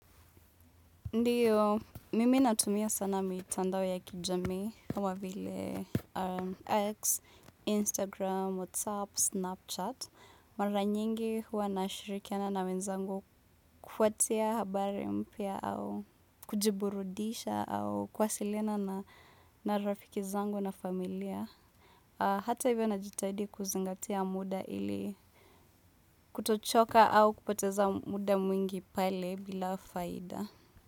Ndiyo, mimi natumia sana mitandao ya kijamii kama vile x, instagram, whatsapp, snapchat. Mara nyingi huwa nashirikiana na wenzangu kuwatia habari mpya au kujiburudisha au kuwasilina na rafiki zangu na familia. Hata hivyo najitahidi kuzingatia muda ili kutochoka au kupoteza muda mwingi pale bila faida.